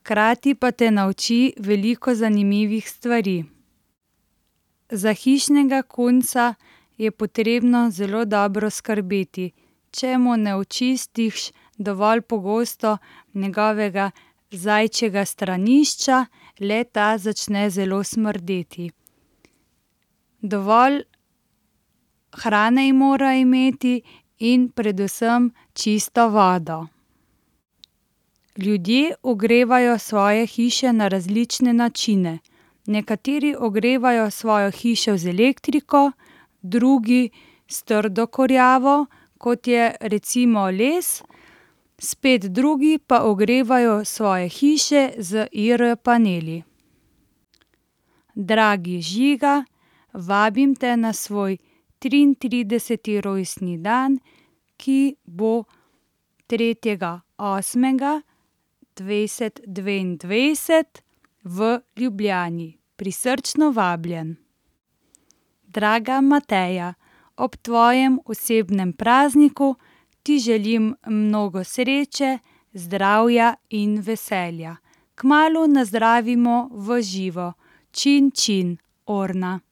hkrati pa te nauči veliko zanimivih stvari. Za hišnega kunca je potrebno zelo dobro skrbeti. Če mu ne očistiš dovolj pogosto njegovega zajčjega stranišča, le-ta začne zelo smrdeti. Dovolj hrane mora imeti in predvsem čisto vodo. Ljudje ogrevajo svoje hiše na različne načine. Nekateri ogrevajo svojo hišo z elektriko, drugi s trdo kurjavo, kot je recimo les, spet drugi pa ogrevajo svoje hiše z IR-paneli. Dragi Žiga. Vabim te na svoj triintrideseti rojstni dan, ki bo tretjega osmega dvajset dvaindvajset v Ljubljani. Prisrčno vabljen. Draga Mateja. Ob tvojem osebnem prazniku ti želim mnogo sreče, zdravja in veselja. Kmalu nazdravimo v živo. Orna.